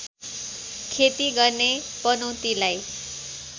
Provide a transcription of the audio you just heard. खेती गर्ने पनौतीलाई